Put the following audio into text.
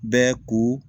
Bɛɛ ko